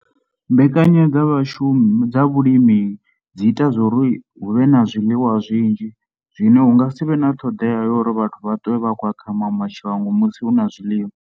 Mbekanyo dza vhashumi dza vhulimi dzi ita zwa uri hu vhe na zwiḽiwa zwinzhi zwine hu nga si vhe na ṱhoḓea uri vhathu vha ṱwe vha khou ya kha maṅwe mashango musi hu na zwiḽiwa.